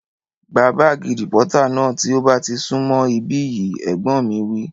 Gba bààgì rìpọ́tà náà tí ó bá ti sún mọ̀ ibí yìí! Ẹ̀gbọ́n mi wí